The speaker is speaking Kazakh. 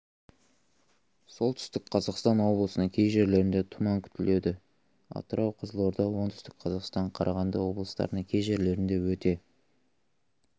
солтүстік қазақстан облысының кей жерлерінде тұман күтіледі атырау қызылорда оңтүстік қазақстан қарағанды облыстарының кей жерлерінде өте